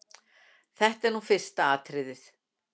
Þetta er nú fyrsta atriðið.